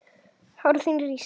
Hár þín rísa.